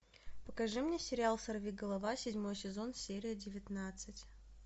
покажи мне сериал сорви голова седьмой сезон серия девятнадцать